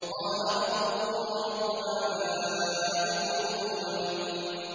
قَالَ رَبُّكُمْ وَرَبُّ آبَائِكُمُ الْأَوَّلِينَ